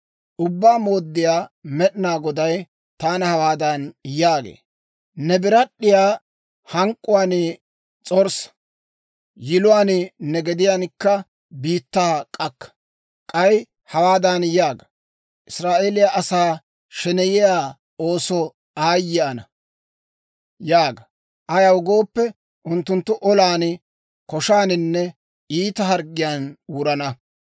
Ubbaa Mooddiyaa Med'inaa Goday taana hawaadan yaagee; «Ne birad'd'iyaa hank'k'uwaan s'orssa! yiluwaan ne gediyankka biittaa k'akka! K'ay hawaadan yaaga; ‹Israa'eeliyaa asaa sheneyiyaa oosoo aayye ana!› yaaga. Ayaw gooppe, unttunttu olan, koshaaninne iita harggiyaan wurana.